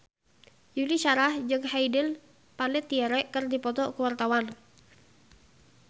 Yuni Shara jeung Hayden Panettiere keur dipoto ku wartawan